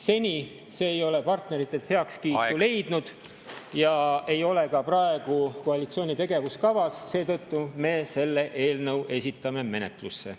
Seni see ei ole partneritelt heakskiitu leidnud ega ole ka praegu koalitsiooni tegevuskavas, seetõttu me esitame selle eelnõu menetlusse.